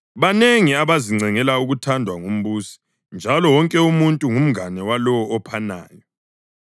Banengi abazincengela ukuthandwa ngumbusi, njalo wonke umuntu ngumngane walowo ophanayo.